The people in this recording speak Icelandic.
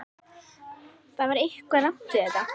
Það var eitthvað rangt við þetta.